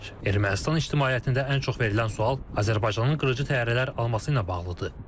Ermənistan ictimaiyyətində ən çox verilən sual Azərbaycanın qırıcı təyyarələr alması ilə bağlıdır.